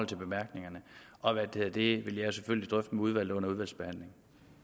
bemærkningerne og det vil jeg selvfølgelig drøfte med udvalget under udvalgsbehandlingen